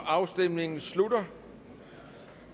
afstemningen slutter